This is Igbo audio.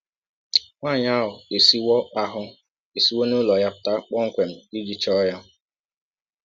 Nwanyị ahụ esiwọ ahụ esiwọ n’ụlọ ya pụta kpọmkwem iji chọọ ya.